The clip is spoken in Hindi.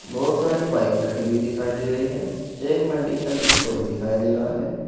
बहुत सारी बाइक खड़ी हुई दिखाई दे रही है एक मेडिकल स्टोर दिखाई दे रहा है।